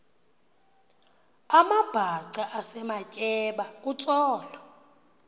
amabhaca esematyeba kutsolo